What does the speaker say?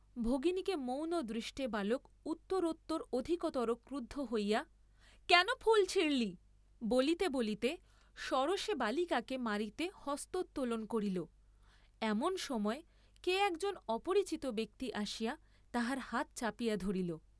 ভগিনীকে মৌন দৃষ্টে বালক উত্তরোত্তর অধিকতর ক্রুদ্ধ হইয়া, কেন ফুল ছিঁড়লি বলিতে বলিতে সরোষে বালিকাকে মারিতে হস্তোত্তোলন করিল, এমন সময় কে একজন অপরিচিত ব্যক্তি আসিয়া তাহার হাত চাপিয়া ধরিল।